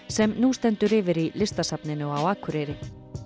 sem nú stendur yfir í Listasafninu á Akureyri